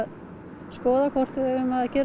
skoða hvort við eigum að gera